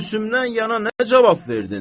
Bəs Gülsümdən yana nə cavab verdin?